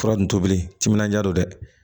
Fura nin tobili timinandiya don dɛ